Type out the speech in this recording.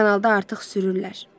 Kanalda artıq sürürlər.